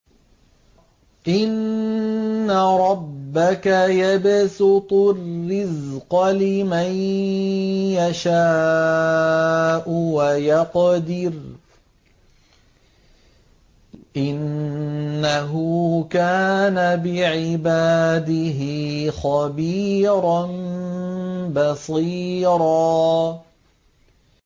إِنَّ رَبَّكَ يَبْسُطُ الرِّزْقَ لِمَن يَشَاءُ وَيَقْدِرُ ۚ إِنَّهُ كَانَ بِعِبَادِهِ خَبِيرًا بَصِيرًا